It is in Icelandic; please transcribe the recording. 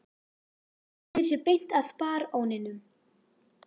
Hann sneri sér beint að baróninum